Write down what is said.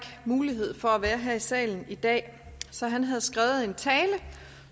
mulighed for at være her i salen i dag så han har skrevet en tale